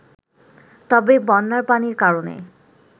তবে বন্যার পানির কারণে